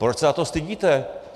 Proč se za to stydíte?